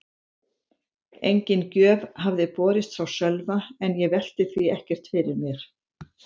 Engin gjöf hafði borist frá Sölva en ég velti því ekkert fyrir mér.